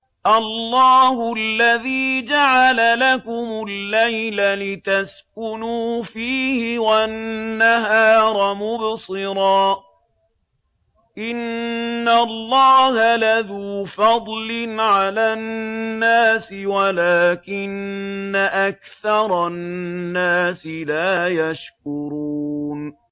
اللَّهُ الَّذِي جَعَلَ لَكُمُ اللَّيْلَ لِتَسْكُنُوا فِيهِ وَالنَّهَارَ مُبْصِرًا ۚ إِنَّ اللَّهَ لَذُو فَضْلٍ عَلَى النَّاسِ وَلَٰكِنَّ أَكْثَرَ النَّاسِ لَا يَشْكُرُونَ